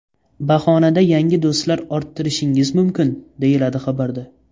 Bahonada yangi do‘stlar orttirishingiz mumkin”, deyiladi xabarda.